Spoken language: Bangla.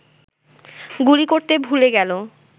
গুলি করতে ভুলে গেল